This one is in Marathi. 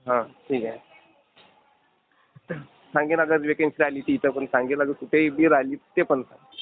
हो, ठीक आहे. सांगेन आता वेकेन्सी आली की इथं पण सांगेन. आता इतर कुठे बी राहिली तर ते पण सांगेन.